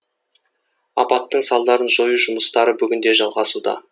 апаттың салдарын жою жұмыстары бүгін де жалғасуда